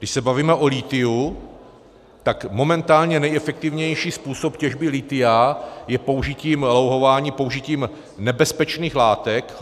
Když se bavíme o lithiu, tak momentálně nejefektivnější způsob těžby lithia je použitím louhování, použitím nebezpečných látek.